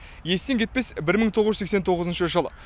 естен кетпес бір мың тоғыз жүз сексен тоғызыншы жыл